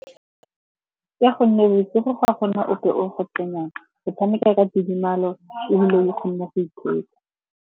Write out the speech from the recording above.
Ka gonne bosigo ga go na ope o go tenang. O tshameka ka tidimalo ebile o kgone go ithetsa.